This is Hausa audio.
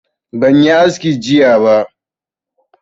Ban yi aski jiya ba